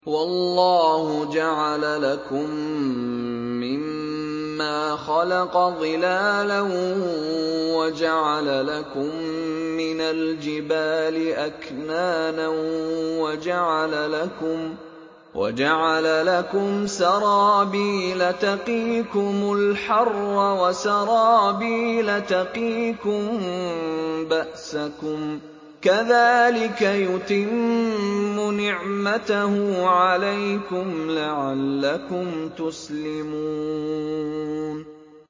وَاللَّهُ جَعَلَ لَكُم مِّمَّا خَلَقَ ظِلَالًا وَجَعَلَ لَكُم مِّنَ الْجِبَالِ أَكْنَانًا وَجَعَلَ لَكُمْ سَرَابِيلَ تَقِيكُمُ الْحَرَّ وَسَرَابِيلَ تَقِيكُم بَأْسَكُمْ ۚ كَذَٰلِكَ يُتِمُّ نِعْمَتَهُ عَلَيْكُمْ لَعَلَّكُمْ تُسْلِمُونَ